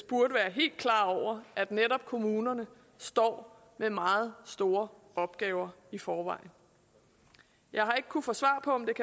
burde være helt klar over at netop kommunerne står med meget store opgaver i forvejen jeg har ikke kunnet få svar på men